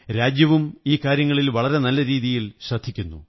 രാജ്യവും ഈ കാര്യങ്ങളിൽ വളരെ നല്ല രീതിയിൽ ശ്രദ്ധിക്കുന്നു